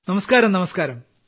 നമസ്ക്കാരം നമസ്ക്കാരം